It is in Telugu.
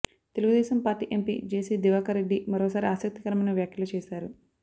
Telugu Desam party MP JC Diwakar Reddy మరోసారి ఆసక్తికరమైన వ్యాఖ్యలు చేశారు